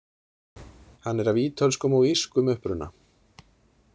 Hann er af ítölskum og írskum uppruna.